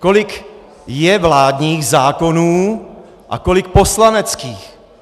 Kolik je vládních zákonů a kolik poslaneckých.